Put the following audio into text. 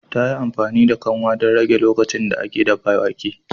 Ta yi amfani da kanwa don rage lokacin da ake dafa wake